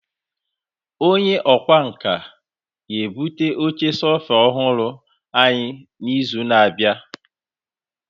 Onye ọkwá nkà ga-ebute oche sofa ọhụrụ anyị n'izu na-abịa.